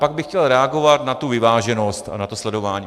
Pak bych chtěl reagovat na tu vyváženost a na to sledování.